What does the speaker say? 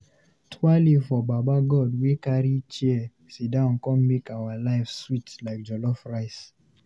Twaale for Baba God wey carry chair sidon con make our life sweet like jollof rice!